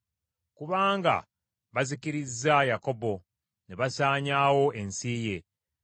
Kubanga bazikirizza Yakobo, ne basaanyaawo ensi ye.